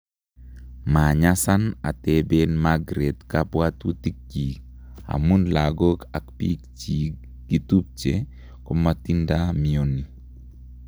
manyasan atebeen Magreth kabwatutikyig amun lagok ak piik chegi tupche komatinda mioni